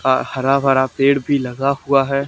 अह हरा भरा पेड़ भी लगा हुआ है।